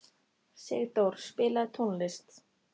Sigdór, spilaðu tónlist.